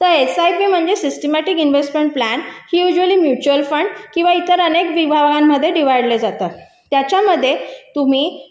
तर एसआयपी म्हणजे systematic investment plan हे शक्यतो म्युच्युअल फंड व इतर अनेक विभागामध्ये जातात त्याच्यामध्ये तुम्ही